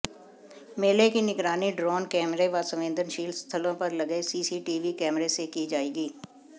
मेले की निगरानी ड्रोन कैमरे व संवेदनशील स्थलो पर लगे सीसीटीवी कैमरे से की जाएगी